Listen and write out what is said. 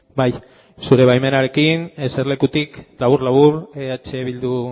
bai zure baimenarekin eserlekutik labur labur eh bildu